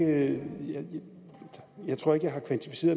når